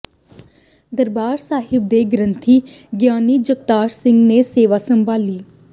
ਦਰਬਾਰ ਸਾਹਿਬ ਦੇ ਗ੍ਰੰਥੀ ਗਿਆਨੀ ਜਗਤਾਰ ਸਿੰਘ ਨੇ ਸੇਵਾ ਸੰਭਾਲੀ